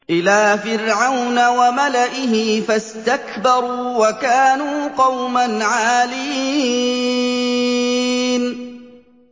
إِلَىٰ فِرْعَوْنَ وَمَلَئِهِ فَاسْتَكْبَرُوا وَكَانُوا قَوْمًا عَالِينَ